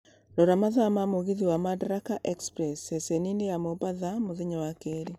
Rora mathaa ma mũgithi wa madaraka express ceceni-inĩ ya mombatha mũthenya wa keri